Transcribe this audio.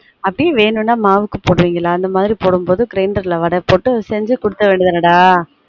அப்டி வேணும்னா மாவுக்கு போடுவீங்களா அந்த மாதிரி போடும் போது grinder வட போட்டு செஞ்சு குடுத்தற வேண்டியது தானடா